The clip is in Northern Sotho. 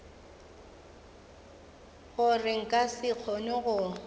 gore nka se kgone go